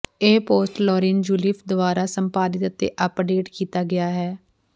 ਇਹ ਪੋਸਟ ਲੌਰੀਨ ਜੂਲੀਫ ਦੁਆਰਾ ਸੰਪਾਦਿਤ ਅਤੇ ਅਪਡੇਟ ਕੀਤਾ ਗਿਆ ਹੈ